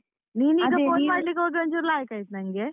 ಒಂಚೂರ್ ಲಾಯಿಕಾಯಿತು ನಂಗೆ.